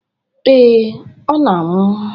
Ee, ọ na-anwụ.